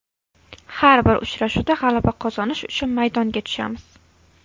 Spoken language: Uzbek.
Har bir uchrashuvda g‘alaba qozonish uchun maydonga tushamiz.